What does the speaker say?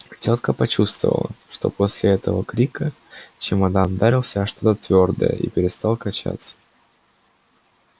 тётка почувствовала что после этого крика чемодан ударился о что-то твёрдое и перестал качаться